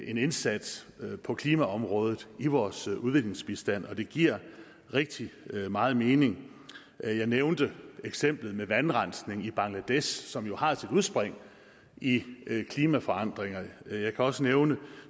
en indsats på klimaområdet i vores udviklingsbistand og det giver rigtig meget mening jeg jeg nævnte eksemplet med vandrensning i bangladesh som jo har sit udspring i klimaforandringer jeg kan også nævne